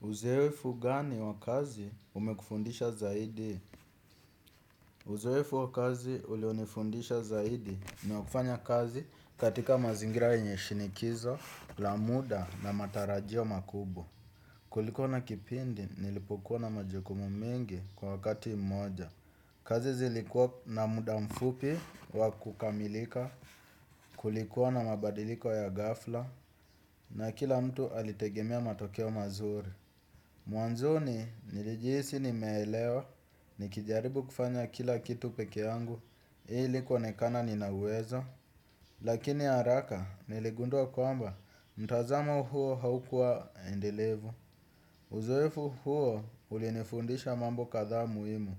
Uzeefu gani wakazi umekufundisha zaidi? Uzoefu wa kazi ulionifundisha zaidi ni wakufanya kazi katika mazingira yenye shinikizo, lamuda na matarajio makubwa. Kulikuwa na kipindi nilipokua na majukumu mengi kwa wakati moja. Kazi zilikuwa na muda mfupi wakukamilika kulikuwa na mabadiliko ya ghafla na kila mtu alitegemea matokeo mazuri. Mwanzo ni nilijihisi ni meelewa ni kijaribu kufanya kila kitu peke yangu ili kuonekana nina uwezo. Lakini haraka niligundua kwamba mtazamo huo haukuwa endelevu. Uzoefu huo ulinifundisha mambo kathaa muhimu.